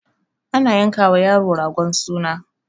ana yanka wa yaro ragon suna